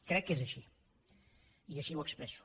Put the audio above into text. crec que és així i així ho expresso